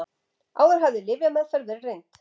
Áður hafði lyfjameðferð verið reynd